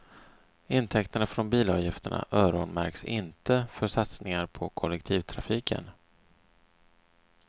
Intäkterna från bilavgifterna öronmärks inte för satsningar på kollektivtrafiken.